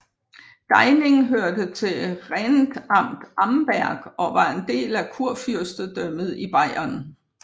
Deining hørte til Rentamt Amberg og var en del af Kurfyrstedømmet Bayern